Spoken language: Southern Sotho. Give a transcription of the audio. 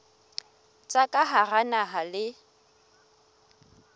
tsa ka hara naha le